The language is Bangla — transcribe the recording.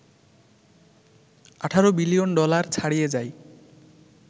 ১৮ বিলিয়ন ডলার ছাড়িয়ে যায়